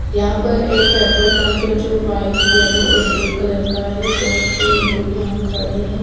यहाँ पर एक पेट्रोल पंप है जो व्हाईट येल्लो और ब्लू कलर का है बोहोत से लोग यहाँ खड़े है।